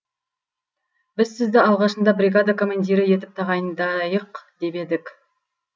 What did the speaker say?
біз сізді алғашында бригада командирі етіп тағайындайық деп едік